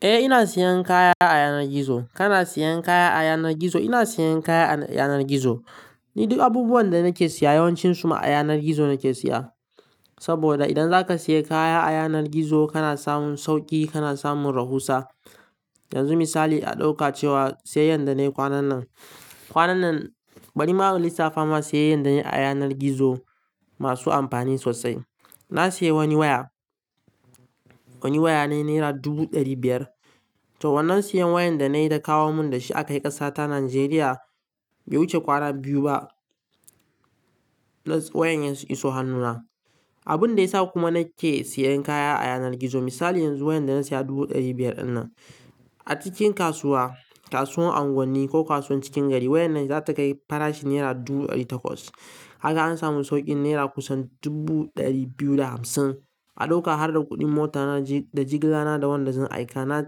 Eh, ina siyan kaya a yanar gizo. Kana siyan kaya a yanar gizo? Ina siyan kaya a yanar gizo. Ni duk abubuwan da nake siya yawancinsu ma a yanar gizo nake siya. Saboda idan zaka siya kaya a yanar gizo kana samun sauƙi, kana samun rahusa. Yanzu misali a ɗauka cewa sa yanyan da nayi kwanan nan. Kwanan nan, bari ma in lissafa ma sa yay yan da nayi a yanar gizo masu amfani sosai. Na siya wani waya, wani waya ne naira dubu ɗari biyar. To wannan siyan wayan da na yi da kawo mun da shi aka yi ƙasa ta Najeriya bai wuce kwana biyu ba. Plus wayan ya iso hannuna. Abun da ya sa kuma na ke siyan kaya a yanar gizo misali yanzu wayan da na siya dubu ɗari biyar ɗin nan, a cikin kasuwa, kasuwar unguwanni ko kasuwan cikin gari wayan nan zata kai farashi naira dubu ɗari takwas. Kaga an samu sauƙin naira kusan dubu ɗari biyu da hamsin. A ɗauka harda kuɗin motar na da jigila na da wanda zan aika, na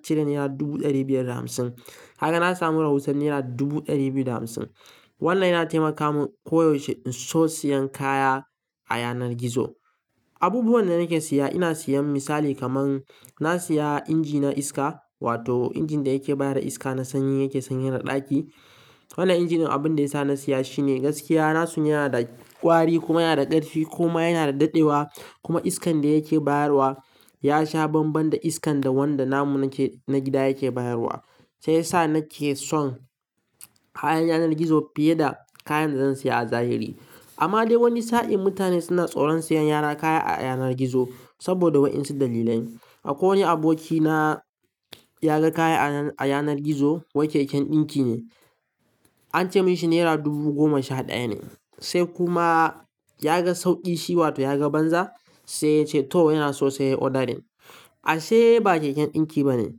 cire naira dubu ɗari biyar da hamsin. Kaga na samu rahusan naira dubu ɗari biyu da hamsin. Wannan yana taimaka mun koyaushe in so siyan kaya a yanar gizo. Abubuwan da nake siya, ina siyan misali kaman na siya inji na iska wato injin da yake bayar da iska na sanyi yake sanyar da ɗaki. Wannan injin abun da ya sa na siya shi ne gaskiya na sun yana da ƙwari kuma yana da ƙarfi kuma yana daɗewa kuma iskan da yake bayarwa ya sha banban da iskan da wanda namun na gida yake bayarwa. Sai ya sa nake son kayan yanar gizo fiye da kayan da zan siya a zahiri. Amma dai wani sa'in mutane suna tsoron siyan yara kaya a yanar gizo saboda wa'insu dalilan. Akwai wani abokina ya ga kaya a yanar gizo, wai keken ɗinki ne. An ce mishi naira dubu goma sha ɗaya ne. Sai kuma ya ga sauƙi shi wato ya ga banza sai ya ce to yana so sai yayi odarin. Ashe ba keken ɗinki bane.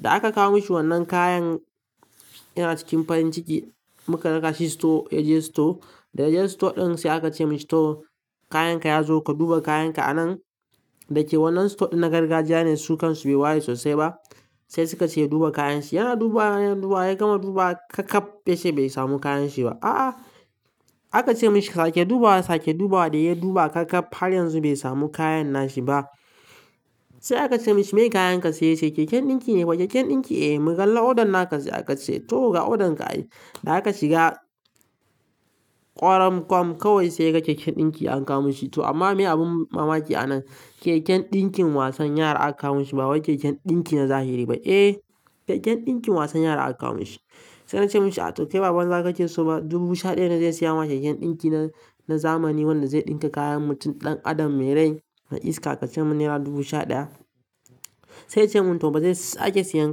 Da aka kawo mishi wannan kayan yana cikin farin ciki muka raka shi store ya je store. Da ya je store ɗin sai aka ce mishi to kayan ka ya zo ka duba kayan ka a nan. Da yake wannan store ɗin na gargajiya ne su kan su bai waye sosai ba sai suka ce ya duba kayan shi. Yana dubawa, yana dubawa ya gama dubawa kakkaɓ yace bai samu kayan shi ba. A'a! Aka ce mishi sake dubawa, sake dubawa da ya duba kakkaɓ har yanzu bai samu kayan nashi ba. Sai aka ce mishi "Me kayan ka sai?" sai "Keken ɗinki ne." "fa keken ɗinki?" "Eh." "Mu kalla odan naka sai aka ce to ga odan ka ay." Da haka shiga ƙwaran kwam kawai sai ya ga keken ɗinki an kawo mishi. To amma me abun mamaki a nan, keken ɗinkin wasan yara aka kawo mishi ba wai keken ɗinki na zahiri ba. Eh, keken ɗinkin wasan yara aka kawo mishi. Sai na ce mishi "To kai ba banza kake so ba dubu sha ɗaya ne zai siya ma keken ɗinki na zamani wanda zai ɗinka kayan mutum ɗan adam mai rai da iska ka ce mun naira dubu sha ɗaya?" Sai ya ce mun "To ba zai sake siyan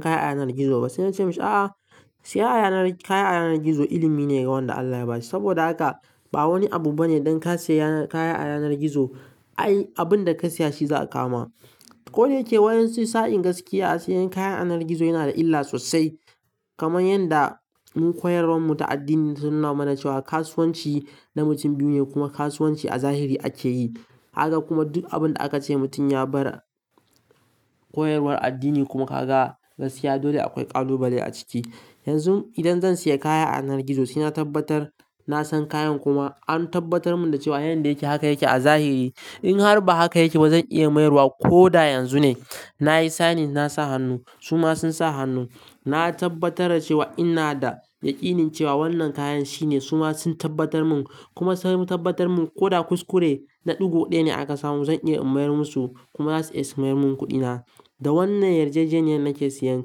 kaya a yanar gizo ba." Sai na ce mishi "A'a, siya kaya a yanar gizo ilimi ne ga wanda Allah ya ba shi." Saboda haka ba wani abu bane dan ka siya kaya a yanar gizo ai abun da ka siya shi za a kawo ma. Ko da yake waƴan su sa'in gaskiya siyan kayan a yanar gizo yana da illa sosai. Kaman yanda mun koyarwar mu ta addini ta nuna mana cewa kasuwanci na mutum biyu ne kuma kasuwanci a zahiri ake yi. Haka kuma duk abun da aka ce mutum ya bar koyarwar addini kuma ka ga gaskiya dole akwai ƙalubale a ciki. Yanzu idan zan siya kaya a yanar gizo sai na tabbatar na san kayan kuma an tabbatar mun da cewa yan da yake haka yake a zahiri. In har ba haka yake ba zan iya mayarwa ko da yanzu ne. Na yi signing na sa hannu su ma sun sa hannu. Na tabbatar da cewa ina da yaƙinin cewa wannan kayan shine su ma sun tabbatar mun kuma sun tabbatar mun ko da kuskure na ɗugo ɗaya ne aka samu zan iya in mayar musu kuma za su iya su mayar mun kuɗina. Da wannan yarjejeniyar nake siyan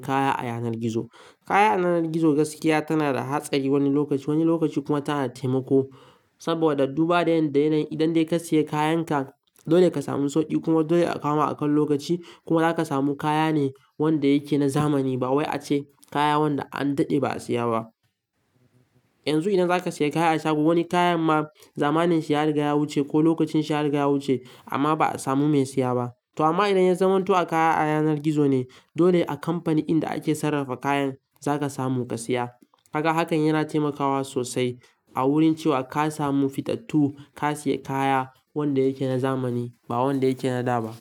kaya a yanar gizo. Kaya a yanar gizo gaskiya tana da hatsari wani lokaci, wani lokaci kuma tana taimako. Saboda duba da yan da yana yin idan dai ka siya kayan ka dole ka samu sauƙi kuma dole a kawo ma akan lokaci kuma za ka samu kaya ne wanda yake na zamani ba wai ace kaya wanda an daɗe ba a siya ba. Yanzu idan zaka siya kaya a shago wani kayan ma zamanin shi yariga ya wuce ko lokacin shi yariga ya wuce amma ba'a samu mai siya ba. To amma idan ya zamanto a kaya a yanar gizo ne dole a kamfani inda ake sarrafa kayan za ka samu ka siya. Kaga hakan yana taimakawa sosai a wurin cewa ka samu fitattu, ka siya kaya wanda yake na zamani ba wanda yake na da ba.